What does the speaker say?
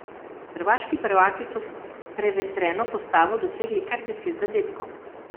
Hrvaški prvaki so s prevetreno postavo dosegli kar deset zadetkov.